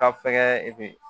Ka fɛkɛ i bi